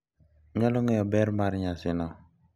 Nyalo ng’eyo ber mar nyasino,